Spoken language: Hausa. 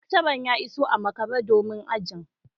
Lecturer ya iso a makare domin ajin